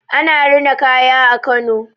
Ana rina kaya a Kano.